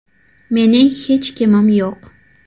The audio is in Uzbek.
– Mening hech kimim yo‘q .